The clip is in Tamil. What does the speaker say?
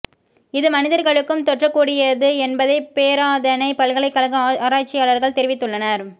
இது மனிதர்களுக்கும் தொற்றக்கூடியது என்பதை பேராதனை பல்கலைக்கழக ஆராய்ச்சியாளர்கள் தெரிவித்துள்ளனர்